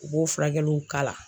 U b'o furakɛliw kala.